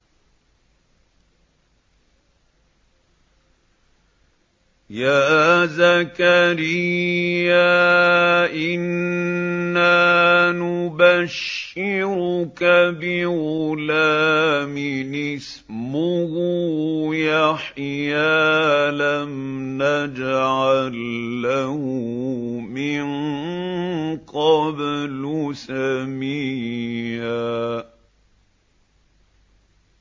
يَا زَكَرِيَّا إِنَّا نُبَشِّرُكَ بِغُلَامٍ اسْمُهُ يَحْيَىٰ لَمْ نَجْعَل لَّهُ مِن قَبْلُ سَمِيًّا